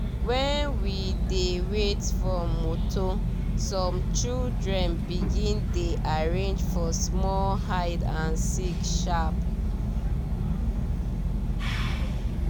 when we dey wait for motor some children begin dey arrange for small hide and seek sharp